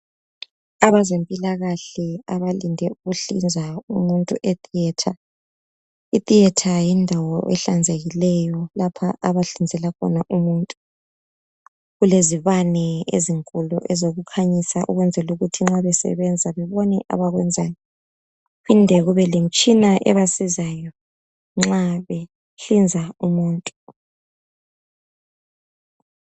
Abazempilakahle abalinde ukuhlinza umuntu e theatre, I theatre yindawo ehlanzekikeyo lapha abahlinzela khona umuntu , kulezibane ezinkulu ezokukhanyisa ukwenzela ukuthi nxa besebenza bebone abakwenzayo kuphinde kube lemitshina ebasizayo nxa behlinza umuntu